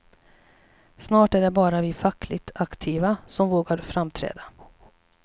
Snart är det bara vi fackligt aktiva, som vågar framträda.